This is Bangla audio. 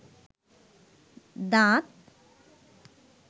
দাঁত